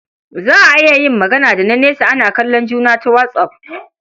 Za a iya yin magana da na nesa ana kallon juna ta WhatsApp.